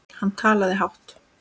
Hann talaði hátt.